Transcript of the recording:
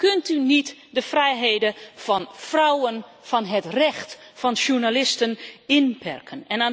Dan kunt u niet de vrijheden van vrouwen, van het recht of van journalisten inperken.